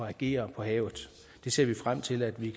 at agere på havet det ser vi frem til at vi